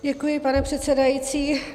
Děkuji, pane předsedající.